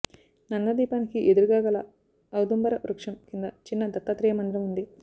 నందా దీపానికి ఎదురుగాగల ఔదుంబర వృక్షం కింద చిన్న దత్తాత్రేయ మందిరం ఉంది